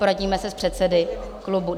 Poradíme se s předsedy klubů.